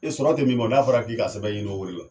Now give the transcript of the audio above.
E sɔrɔ ten min bɔ n'a fɔra k'i ka sɛbɛn ɲini olu la